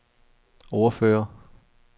ordfører